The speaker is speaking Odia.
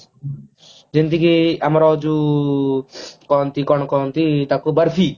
ଯେମତିକି ଆମର ଯୋଉ କହନ୍ତି କଣ କହନ୍ତି ତାକୁ ବର୍ଫି